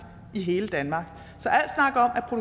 i hele danmark